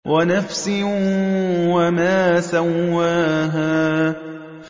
وَنَفْسٍ وَمَا سَوَّاهَا